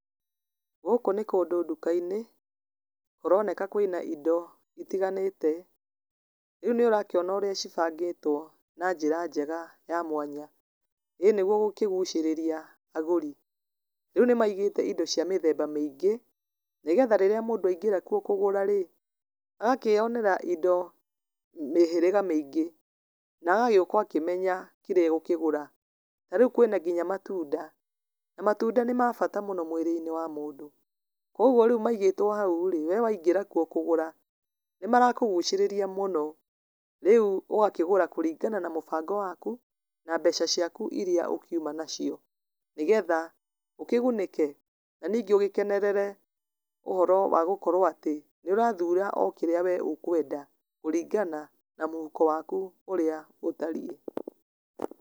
Gũkũ nĩ kũndũ nduka-inĩ, kũroneka kwĩna indo citiganĩte, rĩu nĩ ũrakĩona ũrĩa cibangĩtwo na njĩra njega ya mwanya, ĩĩ nĩguo gũkĩgucĩrĩria agũri, rĩu nĩ maigĩte indo cia mĩthemba maingĩ, nĩ getha rĩrĩa mũndũ aingĩra kuo kũgũra rĩ, agakĩyonera indo, mĩhĩriga maingĩ, nagagĩũka akĩmenya kĩrĩa egũkĩgũra, narĩu kwĩna nginya matunda, na matunda nĩ mabata mũno mwĩrĩ-inĩ wa mũndũ, koguo rĩu maigĩtwo hau rĩ, we waingĩra kuo kũgũra, nĩ marakũgucĩria mũno, rĩu ũgakĩgũra kũringana na mũbango waku, na mbeca ciaku iria ũkiuma nacio, nĩ getha ũkĩgunĩke na ningĩ ũgĩkenerere ũhoro wa gũkorwo atĩ, nĩ ũrathura okĩrĩa we ũkwenda, kũringana na mũhuko waku ũrĩa ũtariĩ.